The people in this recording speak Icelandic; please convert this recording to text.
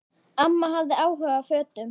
Amma hafði áhuga á fötum.